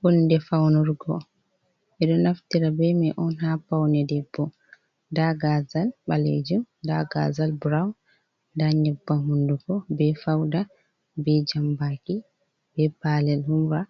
Hunde faunurgo eɗo naftira be mai on ha paune, debbo nda gazal ɓalejum, da gazal burawn, nda nyebbam hunduko, be fauda, be jambaki, be palel humra,